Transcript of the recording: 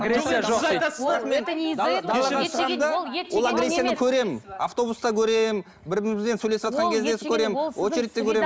көремін автобуста көремін бір бірімізбен сөйлесіватқан кезде көремін очередьте көремін